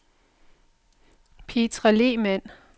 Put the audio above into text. Petra Lehmann